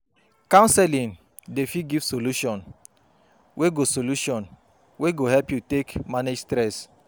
Counseling dey fit give solution wey go solution wey go help yu take manage stress